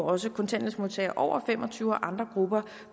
også kontanthjælpsmodtagere over fem og tyve år og andre grupper